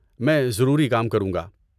میں ضروری کام کروں گا۔